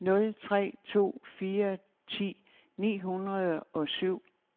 nul tre to fire ti ni hundrede og syv